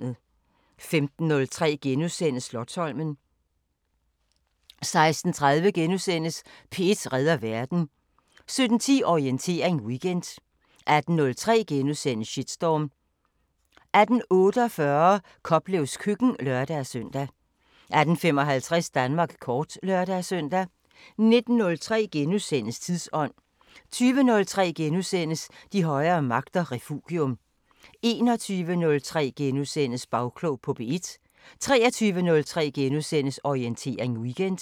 15:03: Slotsholmen * 16:30: P1 redder verden * 17:10: Orientering Weekend 18:03: Shitstorm * 18:48: Koplevs køkken (lør-søn) 18:55: Danmark kort (lør-søn) 19:03: Tidsånd * 20:03: De højere magter: Refugium * 21:03: Bagklog på P1 * 23:03: Orientering Weekend *